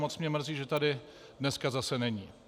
Moc mě mrzí, že tady dneska zase není.